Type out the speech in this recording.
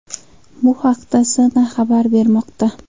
Bu haqda CNN xabar bermoqda .